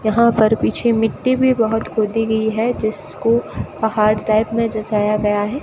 यहां पर पीछे मिट्टी भी बहोत खोदी गई है जिसको पहाड़ टाइप में जचया गया है।